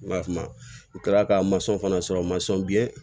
N b'a f'a ma n kilala ka fana sɔrɔ